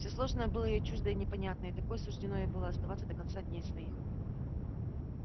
всё сложное было ей чуждо и непонятно и такой суждено ей было оставаться до конца дней своих